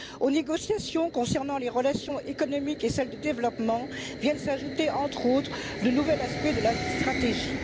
Aux négociations concernant les relations économiques et celles de développement vient s'ajouter, entre autres, le nouvel aspect de la stratégie.